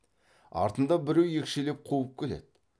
артында біреу екшелеп қуып келеді